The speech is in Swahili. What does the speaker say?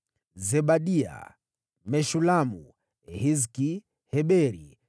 Zebadia, Meshulamu, Hizki, Heberi,